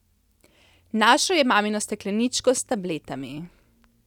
Našel je mamino stekleničko s tabletami.